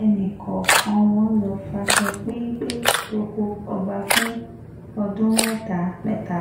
ẹnì kọ̀ọ̀kan wọn lọ́ọ́ faṣọ péńpẹ́ roko ọba fún ọdún mẹ́ta mẹ́ta